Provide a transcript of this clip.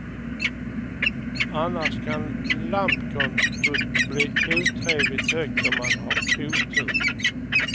Annars kan lampkontot bli otrevligt högt om man har otur.